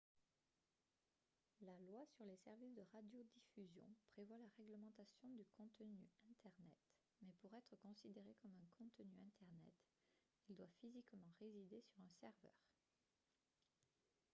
la loi sur les services de radiodiffusion prévoit la réglementation du contenu internet mais pour être considéré comme un contenu internet il doit physiquement résider sur un serveur